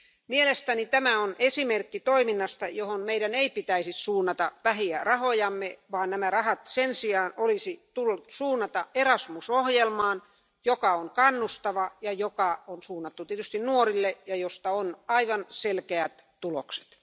Mielestäni tämä on esimerkki toiminnasta, johon meidän ei pitäisi suunnata vähiä rahojamme, vaan nämä rahat olisi sen sijaan pitänyt suunnata Erasmus ohjelmaan, joka on kannustava, ja joka on suunnattu tietysti nuorille, ja josta on aivan selkeät tulokset.